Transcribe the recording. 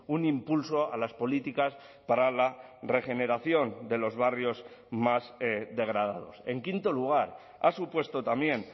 un impulso a las políticas para la regeneración de los barrios más degradados en quinto lugar ha supuesto también